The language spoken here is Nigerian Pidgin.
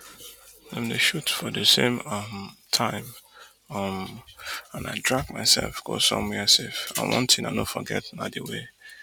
dem dey shoot for di same um time um and i drag mysef go somwia safe and one tin i no forget na di way